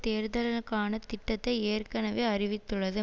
தேர்தலுக்கான திட்டத்தை ஏற்கனவே அறிவித்துள்ளது